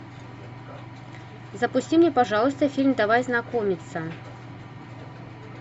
запусти мне пожалуйста фильм давай знакомиться